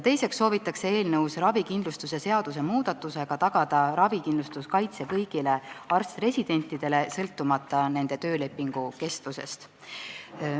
Teiseks soovitakse eelnõus ravikindlustuse seaduse muudatusega tagada ravikindlustuskaitse kõigile arst-residentidele, sõltumata nende töölepingu kestusest.